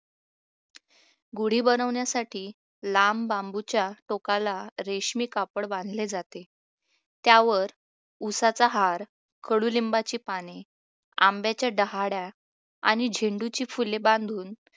गुढी बनवण्यासाठी लांब बांबूच्या टोकाला रेशमी कापड बांधली जाते त्यावर उसाचा हार कडुलिंबाची पाने आंब्याच्या डहाळ्या आणि झेंडुची फुले बांधून